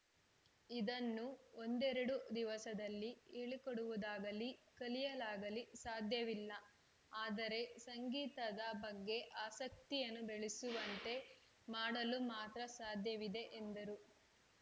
ಇದನ್ನು ಒಂದೆರಡು ದಿವಸದಲ್ಲಿ ಹೇಳಿಕೊಡುವುದಾಗಲಿ ಕಲಿಯಲಾಗಲಿ ಸಾಧ್ಯವಿಲ್ಲ ಆದರೆ ಸಂಗೀತದ ಬಗ್ಗೆ ಆಸಕ್ತಿಯನ್ನು ಬೆಳೆಸುವಂತೆ ಮಾಡಲು ಮಾತ್ರ ಸಾಧ್ಯವಿದೆ ಎಂದರು